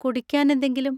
കുടിക്കാൻ എന്തെങ്കിലും?